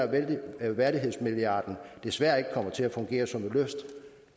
at værdighedsmilliarden desværre ikke kommer til at fungere som et løft